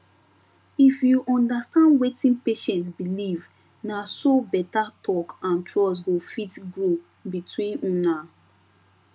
if you understand wetin patient believe na so better talk and trust go fit grow between una